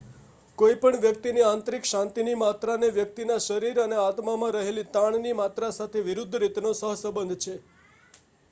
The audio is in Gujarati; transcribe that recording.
કોઈ પણ વ્યક્તિની આંતરિક શાંતિની માત્રાનો વ્યકિતના શરીર અને આત્મામાં રહેલ તાણની માત્રા સાથે વિરુદ્ધ રીતનો સહસંબંધ છે